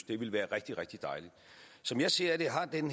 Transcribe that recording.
det ville være rigtig rigtig dejligt som jeg ser det har den